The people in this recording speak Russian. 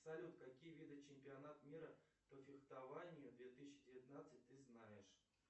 салют какие виды чемпионатов мира по фехтованию две тысячи девятнадцать ты знаешь